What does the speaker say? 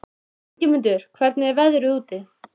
Ingimunda, hvernig er veðrið úti?